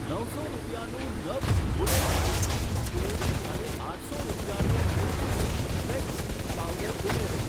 નવસો રૂપિયાનું નભ્સ વૂડન આઈસ ક્રીમ સ્પૂન અને આઠસો રૂપિયાનું ન્યુટ્રીવિશ ફ્લેક્સ સીડ પાવડર ઉમેરો.